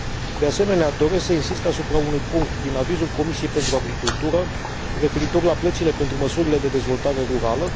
De asemenea, doresc să insist asupra unui punct din avizul Comisiei pentru agricultură, referitor la plățile pentru măsurile de dezvoltare rurală.